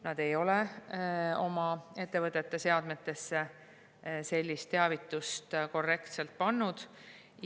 Nad ei ole oma ettevõtete seadmetesse sellist teavitust korrektselt pannud.